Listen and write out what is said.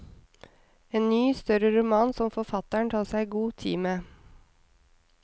En ny, større roman som forfatteren tar seg god tid med.